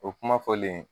O kuma fɔlen